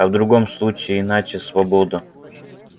а в другом случае иначе свобода